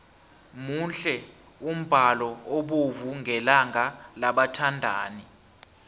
muhle umbalo obovu ngelanga labathandani